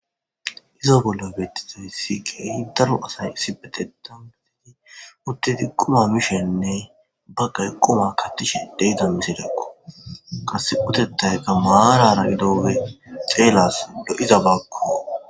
izo bollo bettizoy sikiyi daro asay isibetetanbeteti uttedi quma mishenne ba gay quma kattishidey dommisidakko qase utetayka maarana gidoge xeelas do7iza baakko